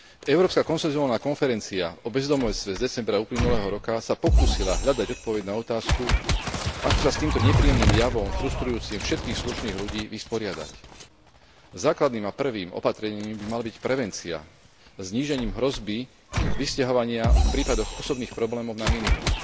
Európska konsenzovaná konferencia o bezdomovstve z decembra uplynulého roka sa pokúsila hľadať odpoveď na otázku ako sa s týmto nepríjemným javom, frustrujúcim všetkých slušných ľudí, vysporiadať. Základným a prvým opatrením by mala byť prevencia znížením hrozby vysťahovania v prípadoch osobných problémov na minimum.